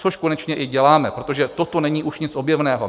Což konečně i děláme, protože toto není už nic objevného.